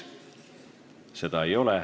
Seda ei ole.